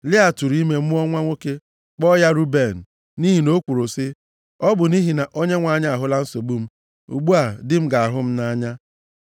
Lịa tụrụ ime mụọ nwa nwoke, kpọọ ya Ruben. Nʼihi na o kwuru sị, “Ọ bụ nʼihi na Onyenwe anyị ahụla nsogbu m, ugbu a di m ga-ahụ m nʼanya.”